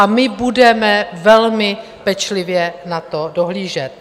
A my budeme velmi pečlivě na to dohlížet.